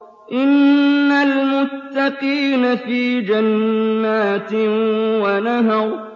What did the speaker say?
إِنَّ الْمُتَّقِينَ فِي جَنَّاتٍ وَنَهَرٍ